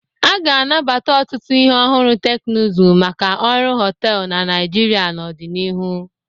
A ga-anabata ọtụtụ ihe ọhụrụ teknụzụ maka ọrụ họtelụ na Naịjirịa n'ọdịnihu.